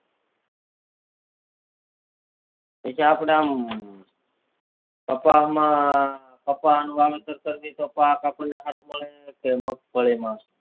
પછી આપડ આમ કપા માં કપા નું વાવેતર પાક આપણે સારું મળે કે મગફળી માં